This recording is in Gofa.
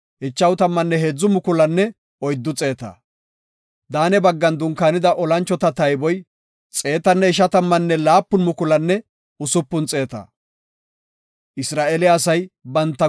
Daane baggan dunkaanida olanchota tayboy 157,600. Isra7eele asay gutaa yeddidi biya wode wursethan keyey enta.